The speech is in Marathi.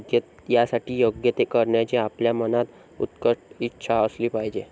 यासाठी योग्य ते करण्याची आपल्या मनात उत्कट इच्छा असली पाहिजे.